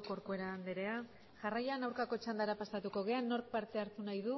corcuera andrea jarraian aurkako txandara pasatuko gara nork parte hartu nahi du